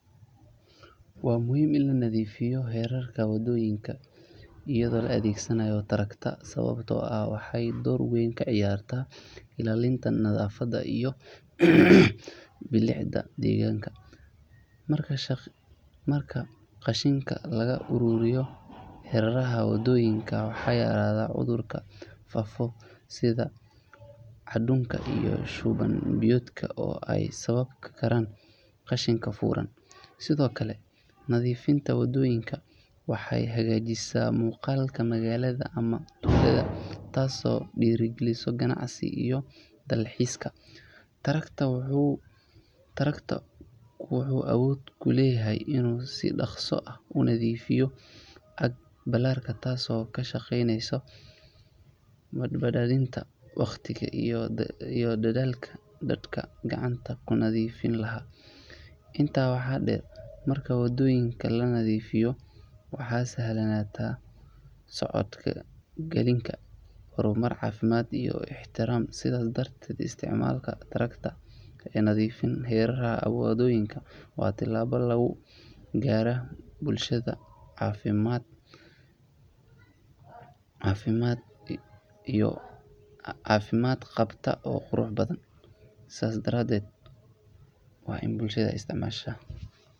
Waa muhiim in la nadiifiyo hareeraha waddooyinka iyadoo la adeegsanayo traktor sababtoo ah waxay door weyn ka ciyaartaa ilaalinta nadaafadda iyo bilicda deegaanka. Marka qashinka laga ururiyo hareeraha waddooyinka, waxaa yaraada cudurrada faafa sida daacuunka iyo shuban biyoodka oo ay sababi karaan qashinka furan. Sidoo kale, nadiifinta waddooyinka waxay hagaajisaa muuqaalka magaalada ama tuulada taasoo dhiirrigelisa ganacsiga iyo dalxiiska. Traktor-ku wuxuu awood u leeyahay inuu si dhakhso ah u nadiifiyo aag ballaaran taasoo ka shaqeyneysa badbaadinta wakhtiga iyo dadaalka dadka gacanta ku nadiifin lahaa. Intaa waxaa dheer, marka waddooyinka la nadiifiyo waxaa sahlanaata socodka gaadiidka iyo dadka lugaynaya. Bulsho nadiif ah waxay astaan u tahay horumar, caafimaad iyo is-ixtiraam. Sidaas darteed, isticmaalka traktor-ka ee nadiifinta hareeraha waddooyinka waa tallaabo lagu gaari karo bulsho caafimaad qabta oo qurux badan.